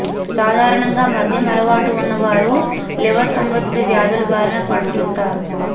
సాధారణంగా మద్యం అలవాటు ఉన్న వారు లివర్ సంబంధిత వ్యాధుల బారిన పడుతుంటారు